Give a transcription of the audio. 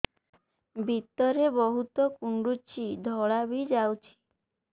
ଭିତରେ ବହୁତ କୁଣ୍ଡୁଚି ଧଳା ବି ଯାଉଛି